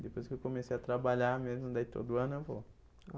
Depois que eu comecei a trabalhar mesmo, daí todo ano eu vou.